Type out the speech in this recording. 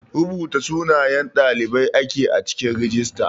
Rubuta sunayen ɗalibai ake a cikin rijista.